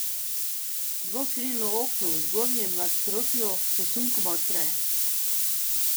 Dvokrilno okno v zgornjem nadstropju se sunkoma odpre.